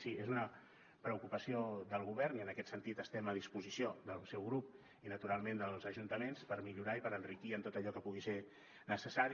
sí és una preocupació del govern i en aquest sentit estem a disposició del seu grup i naturalment dels ajuntaments per millorar i per enriquir en tot allò que pugui ser necessari